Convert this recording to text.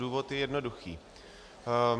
Důvod je jednoduchý.